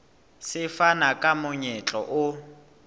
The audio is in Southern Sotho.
se fana ka monyetla o